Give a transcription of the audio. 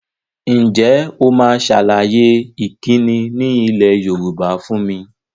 Ǹjẹ́ o máa sàlàyé ìkíni ni ilẹ̀ Yorùbá fún mi?